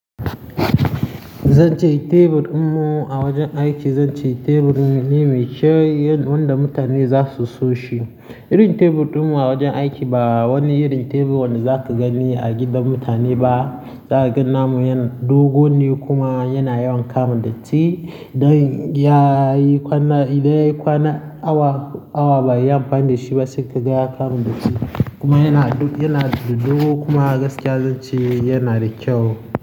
Zan ce tebur ɗinmu a wajen aiki, zan ce tebur me kyau, wanda mutane za su so shi. Irin tebur ɗinmu a wajen aiki ba wani irin tebur wanda za ka gani a gidan mutane ba. Za ka ga namu yana dogo ne kuma yana yawan kare datti. Idan ya yi kwana, idan ya yi kwana awa, awa ba yi amfani da shi ba sai ka ga ya kama datti. Kuma yana, yana da dogo kuma gaskiya zan ce yana da kyau.